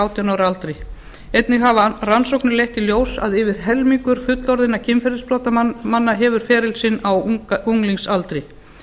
átján ára aldri einnig hafa rannsóknir leitt í ljós að yfir helmingur fullorðinna kynferðisbrotamanna hefur feril sinn á unglingsaldri